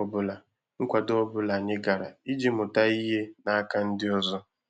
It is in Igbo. ọbụla nkwado ọbụla anyị gara iji mụta ihe n'aka ndị ọzọ